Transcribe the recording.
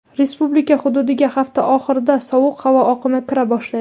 Respublika hududiga hafta oxirida sovuq havo oqimi kira boshlaydi.